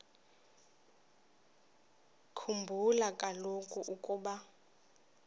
khumbula kaloku ukuba